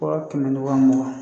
Waga kɛmɛ ni wa mugan.